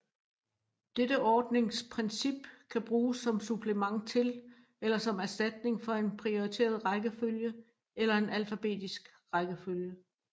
Dette ordningsprincip kan bruges som supplement til eller som erstatning for en prioriteret rækkefølge eller en alfabetisk rækkefølge